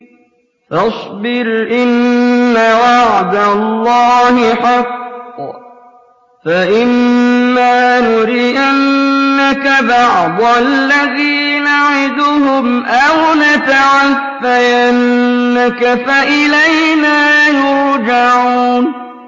فَاصْبِرْ إِنَّ وَعْدَ اللَّهِ حَقٌّ ۚ فَإِمَّا نُرِيَنَّكَ بَعْضَ الَّذِي نَعِدُهُمْ أَوْ نَتَوَفَّيَنَّكَ فَإِلَيْنَا يُرْجَعُونَ